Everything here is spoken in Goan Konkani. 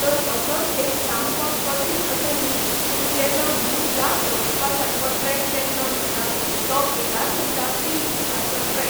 तर असोच एक सामको कठिण असो न्ही पूण तेजो व्हीव याद दवरपा सारको ट्रॅक केल्लो म्हणटा तो केदारघंटा तीन दिसांचो ट्रॅक